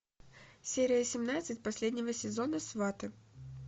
серия семнадцать последнего сезона сваты